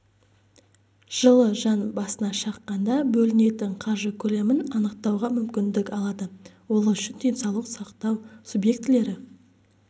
жылы жан басына шаққанда бөлінетін қаржы көлемін анықтауға мүмкіндік алады ол үшін денсаулық сақтау субъектілері